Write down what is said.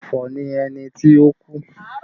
Ọ̀fọ̀ ni ẹni ti ó kú